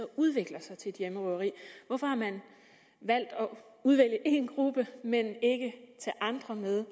udvikler sig til et hjemmerøveri hvorfor har man valgt at udvælge én gruppe men ikke tage andre med